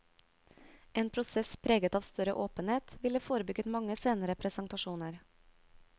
En prosess preget av større åpenhet, ville forebygget mange senere presentasjoner.